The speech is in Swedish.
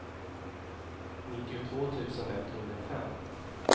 nittiotvå tusen etthundrafem